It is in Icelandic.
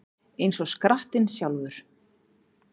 Eins og skrattinn sjálfur